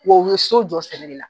Wa u ye so jɔ sɛnɛ de la.